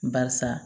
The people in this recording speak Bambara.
Barisa